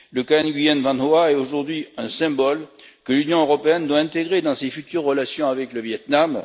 Le cas Nguyen Van Hoa est aujourd'hui un symbole que l'Union européenne doit intégrer dans ses futures relations avec le Viêt Nam.